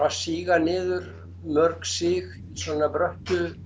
síga niður mörg sig í svona bröttu